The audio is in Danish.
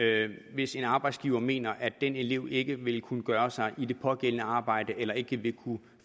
hvis en arbejdsgiver mener at en elev ikke vil kunne gøre sig i det pågældende arbejde eller ikke vil